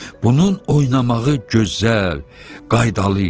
Bunun oynamağı gözəl, qaydalı idi.